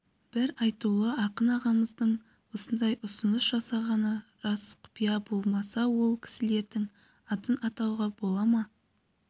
бір айтулы ақын ағамыздың осындай ұсыныс жасағаны рас құпия болмаса ол кісілердің атын атауға бола ма